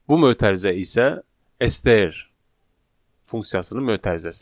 Bu mötərizə isə STR funksiyasının mötərizəsidir.